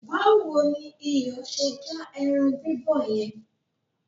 Báwo ni iyọ̀ ṣe já ẹran bíbọ̀ yẹn?